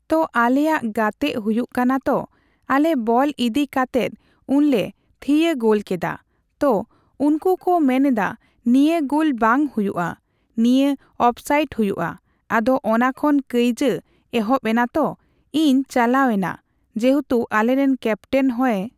ᱛᱚ ᱟᱞᱮᱭᱟᱜ ᱜᱟᱛᱮᱜ ᱦᱩᱭᱩᱜ ᱠᱟᱱᱟ ᱛᱚ ᱟᱞᱮ ᱵᱚᱞ ᱤᱫᱤ ᱠᱟᱛᱮᱫ ᱩᱱ ᱞᱮ ᱛᱷᱤᱭᱟᱹ ᱜᱳᱞ ᱠᱮᱫᱟ ᱾ᱛᱚ ᱩᱱᱠᱩ ᱠᱚ ᱢᱮᱱᱫᱟ ᱱᱤᱭᱟᱹ ᱜᱳᱞ ᱵᱟᱝ ᱦᱩᱭᱩᱜᱼᱟ ᱾, ᱱᱤᱭᱟᱹ ᱚᱯᱷᱥᱟᱭᱤᱴ ᱦᱩᱭᱩᱜᱼᱟ, ᱟᱫᱚ ᱚᱱᱟ ᱠᱷᱚᱱ ᱠᱟᱹᱭᱡᱟᱹ ᱮᱦᱚᱯ ᱮᱱᱟ ᱛᱚ ᱤᱧ ᱪᱟᱞᱟᱣ ᱮᱱᱟ, ᱡᱮᱦᱮᱛᱩ ᱟᱞᱮᱨᱮᱱ ᱠᱮᱯᱴᱮᱱ ᱦᱚᱭᱮ